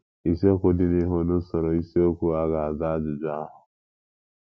Isiokwu dị n’ihu n’usoro isiokwu a ga - aza ajụjụ ahụ.